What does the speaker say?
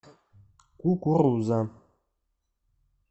кукуруза